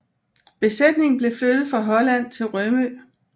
Besætningen blev flyttet fra Holland til Rømø